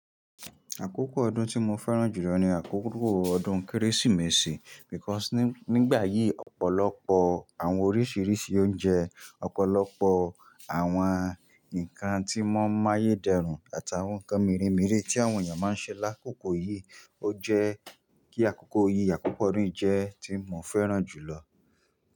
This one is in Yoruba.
Àkókò ọdún tí mo fẹ́ràn jù lọ ni àkókò ọdún Kérésìmesì because nígbà yìí ọ̀pọ̀lọpọ̀ àwọn oríṣiríṣi oúnjẹ, ọ̀pọ̀lọpọ̀ àwọn nǹkan tí mọ́n ń máye dẹrùn àtàwọn nǹkan mere mere tí àwọn èèyàn máa ń ṣe lákòókò yìí, ó jẹ́ kí àkókò yìí, àkókò odun yii jẹ́ tí mo fẹ́ràn jù lọ.